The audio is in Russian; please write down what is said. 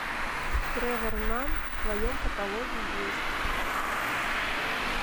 тревор нанн в твоем каталоге есть